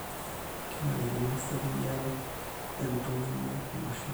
kenarikino eserian intumia mashinini